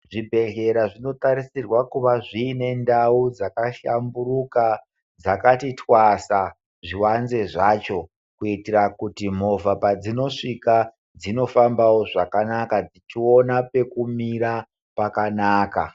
Zvibhehlera zvinotarisirwa kuva zviine ndau dzaka hlamburuka dzakati twasa zvivanze zvacho kuitira kuti movha padzinosvika dzinofambawo zvakanaka dzichiona pekumira pakanaka.